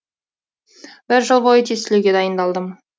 бір жыл бойы тестілеуге дайындалдым